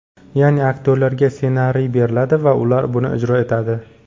Ya’ni, aktyorlarga ssenariy beriladi va ular buni ijro etadi.